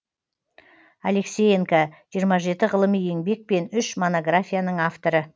алексеенко жиырма жеті ғылыми еңбек пен үш монографияның авторы